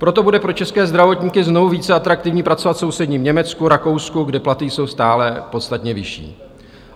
Proto bude pro české zdravotníky znovu více atraktivní pracovat v sousedním Německu, Rakousku, kde platy jsou stále podstatně vyšší.